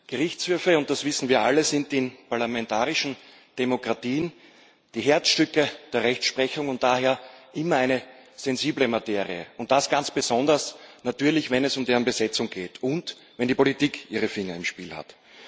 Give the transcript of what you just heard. Gerichtshöfe das wissen wir alle sind in parlamentarischen Demokratien die Herzstücke der Rechtsprechung und daher immer eine sensible Materie, ganz besonders natürlich, wenn es um deren Besetzung geht und wenn die Politik ihre Finger im Spiel hat.